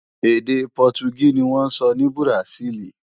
Èdè Pọtugí ni wọ́n ń sọ ní Bùràsíìlì